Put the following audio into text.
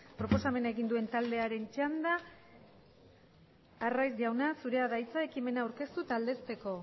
proposamena egin duen taldearen txanda arraiz jauna zurea da hitza ekimena aurkeztu eta aldezteko